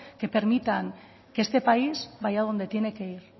que permitan que este país vaya a donde tiene que ir